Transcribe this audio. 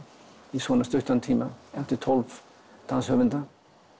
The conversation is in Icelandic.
í svona stuttan tíma eftir tólf danshöfunda